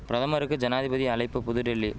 பிரதமருக்கு ஜனாதிபதி அழைப்பு புதுடில்லி